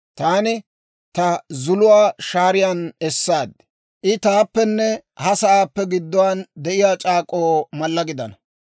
taani ta zuluwaa shaariyaan essaad; I taappenne ha sa'aappe gidduwaan de'iyaa c'aak'k'oo mallaa gidana.